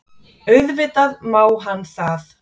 Auðvitað má hann það.